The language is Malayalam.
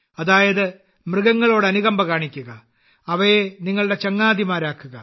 അതായത് മൃഗങ്ങളോട് അനുകമ്പ കാണിക്കുക അവയെ നിങ്ങളുടെ ചങ്ങാതിമാരാക്കുക